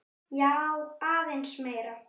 Já, aðeins meira.